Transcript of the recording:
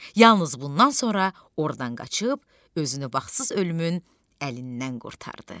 Yalnız bundan sonra ordan qaçıb özünü baxsız ölümün əlindən qurtardı.